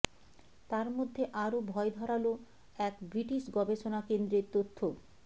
তারমধ্যে আরও ভয় ধরালো এক ব্রিটিশ গবেষণা কেন্দ্রের তথ্য